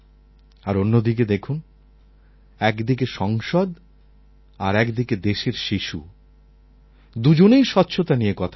আর অন্যদিকে দেখুন একদিকে সংসদ আর একদিকে দেশের শিশু দুজনেই স্বচ্ছতা নিয়ে কথা বলছেন